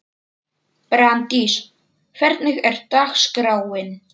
Brandís, hvernig er dagskráin?